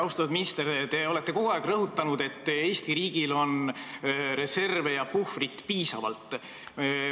Austatud minister, te olete kogu aeg rõhutanud, et Eesti riigil on reserve ja puhvrit piisavalt.